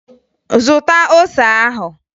Zụta ose ahụ!